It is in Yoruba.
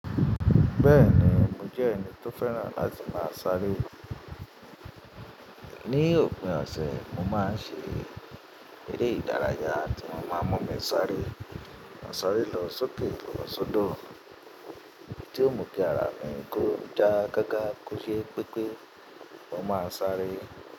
Bẹ́ẹ̀ni, mo jẹ́ ẹni tó fẹ́ràn láti máa sáré. Ni òpin ọ̀sẹ̀, mo máa ń ṣe eré ìdárayá tí ó máa mú mi sáré. Mo sáré lọ sókè lo sódò, tí ó mú kí ara mi kó já gágá kó ṣe pé pé mo máa sáré.